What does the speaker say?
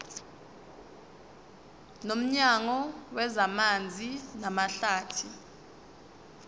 nomnyango wezamanzi namahlathi